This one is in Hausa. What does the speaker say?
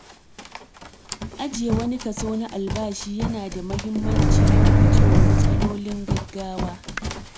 Ajiye wani kaso na albashi yana da mahimmanci don gujewa matsalolin gaggawa.